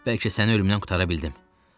Bəlkə səni ölümdən qurtara bildim.